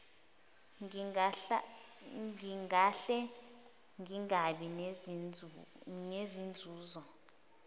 ngingahle ngingabi nazinzuzo